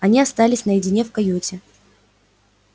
они остались наедине в каюте